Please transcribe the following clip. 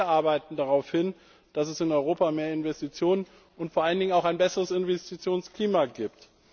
Wir arbeiten darauf hin, dass es in Europa mehr Investitionen und vor allen Dingen auch ein besseres Investitionsklima gibt.